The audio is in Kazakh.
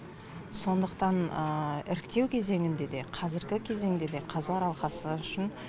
сондықтан іріктеу кезеңінде де қазіргі кезеңде де қазылар алқасы үшін